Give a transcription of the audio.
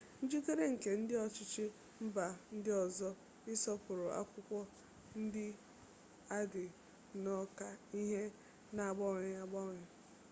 njikere nke ndị ọchịchị mba ndị ọzọ ịsọpụrụ akwụkwọ ndị a dị nnọọ ka ihe na-agbanwe agbanwe